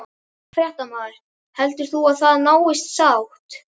Fréttamaður: Heldur þú að það náist sátt?